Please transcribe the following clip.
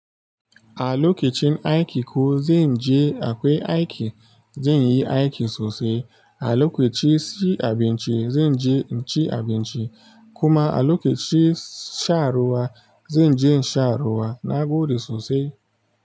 A lokacin aiki ko zan je akwai aiki, zan yi aiki sosai. A lokaci ci abinci zan je in ci abinci, kuma a lokacin shan ruwa zan je in sha ruwa na gode sosai.